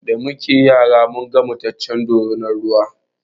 Da muke yara munga mataccen dorinar ruwa